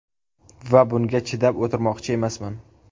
Va bunga chidab o‘tirmoqchi emasman.